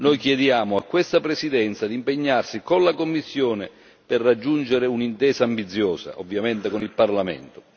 Noi chiediamo a questa Presidenza di impegnarsi con la Commissione per raggiungere un'intesa ambiziosa, ovviamente con il Parlamento.